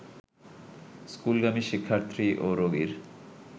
স্কুলগামী শিক্ষার্থী ও রোগীর